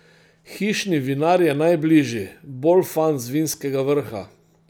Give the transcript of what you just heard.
Hišni vinar je najbližji, Bolfan z Vinskega vrha.